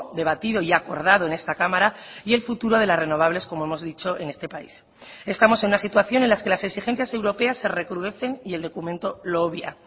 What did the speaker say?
debatido y acordado en esta cámara y el futuro de las renovables como hemos dicho en este país estamos en una situación en las que las exigencias europeas se recrudecen y el documento lo obvia